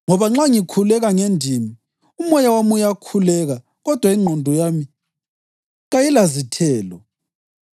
Ngoba nxa ngikhuleka ngendimi, umoya wami uyakhuleka kodwa ingqondo yami kayilazithelo.